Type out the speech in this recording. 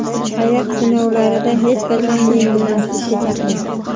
hayot sinovlarida hech qachon yengilmaslikka chaqirdi.